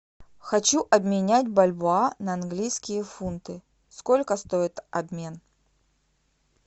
хочу обменять бальбоа на английские фунты сколько стоит обмен